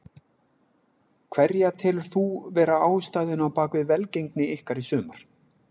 Hverja telur þú vera ástæðuna á bakvið velgengni ykkar í sumar?